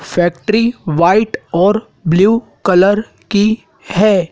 Factory white और blue colour की है।